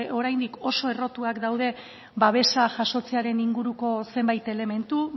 oraindik oso errotuak daude babesa jasotzearen inguruko zenbait elementu